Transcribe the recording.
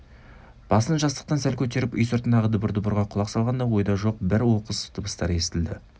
басын жастықтан сәл көтеріп үй сыртындағы дабыр-дұбырға құлақ салғанда ойда жоқ бір оқыс дыбыстар естілді